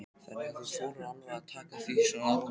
Hinn íslenski maí lúkkar eins og amerískur mars.